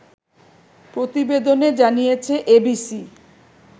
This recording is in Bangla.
প্রতিবেদনে জানিয়েছে এবিসি